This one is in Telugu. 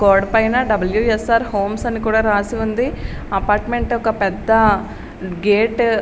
గోడ పైన డబ్ల్యూ ఎస్ ఆర్ హోమ్స్ అని కూడా రాసి ఉంది అపార్ట్మెంట్ ఒక పెద్ద గేటు .